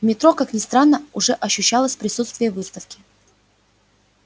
в метро как ни странно уже ощущалось присутствие выставки